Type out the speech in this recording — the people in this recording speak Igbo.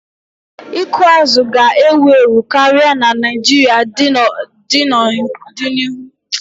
Ịkụ azụ̀ ga-ewu ewu karịa na Naijiria n'odinihu.